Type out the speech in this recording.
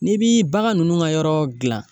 N'i bi bagan nunnu ka yɔrɔ jilan